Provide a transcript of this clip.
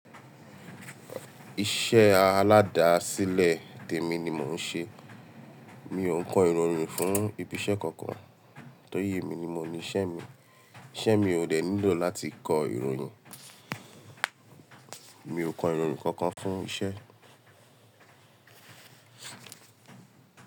Iṣẹ́ aládàsílẹ̀ tèmi ni mò ń ṣe. Mi ò ń kọ ìròyìn fún ibi iṣẹ́ kankan. Torí èmi ni mo ní iṣẹ́ mi. Iṣẹ́ mi ò dẹ̀ nílò láti kọ ìròyìn. Mi ò kọ ìròyìn kankan fún iṣẹ́.